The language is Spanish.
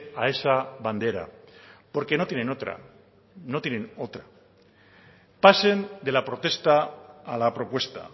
a esa bandera porque no tienen otra no tienen otra pasen de la protesta a la propuesta